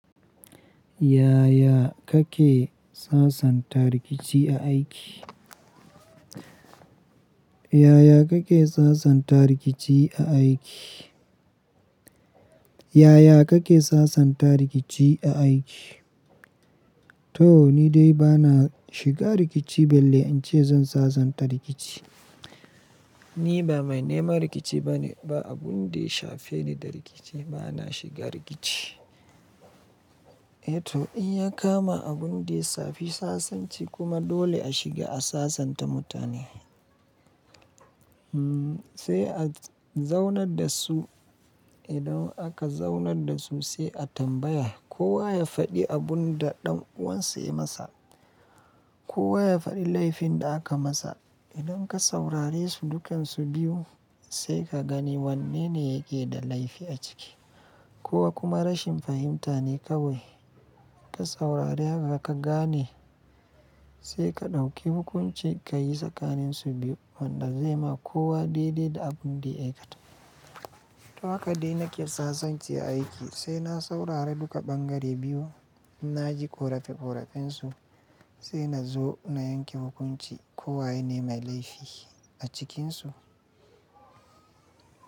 Yaya kake sasanta rikici a aiki? Yaya kake sasanta rikici a aiki? Yaya kake sasanta rikici a aiki? To ni dai bana shiga rikici, balle in ce zan sasanta rikici. Ni ba mai neman rikici bane, ba abun da ya shafe ni da rikici. Bana shiga rikici. Eh to in ya kama abun da ya shafi sasanci kuma dole a shiga a sasanta mutane, sai a zaunar da su. Idan aka zaunar da su sai a tambaya, kowa ya faɗi abun da ɗan uwansa yayi masa. Kowa ya faɗi laifin da aka masa. Idan ka saurare su dukansu biyu sai ka gani wanne ne yake da laifi a ciki ko kuma rashin fahimta ne kawai. Ka saurare haka ka gane sai ka ɗauki hukunci ka yi tsakanin su biyu wanda zai ma kowa daidai da abin da ya aikata. To haka dai nake sasanci a aiki, sai na saurari duka ɓangare biyu. In na ji ƙorafi ƙorafen su sai na zo na yanke hukunci ko wayene mai laifi a cikinsu.